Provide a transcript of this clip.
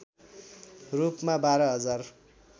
रूपमा १२ हजार